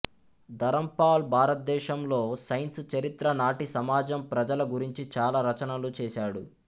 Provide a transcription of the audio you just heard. ధరంపాల్ భారతదేశంలో సైన్స్ చరిత్ర నాటి సమాజం ప్రజల గురించి చాలా రచనలు చేశాడు